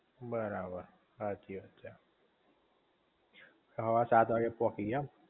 બરાબર સાચી વાત છે સવારે સાત વાગે પોકી ગયા એમ?